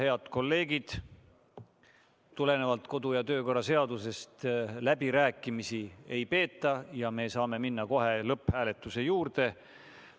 Head kolleegid, tulenevalt kodu- ja töökorra seadusest läbirääkimisi ei peeta ja me saame minna kohe lõpphääletuse juurde.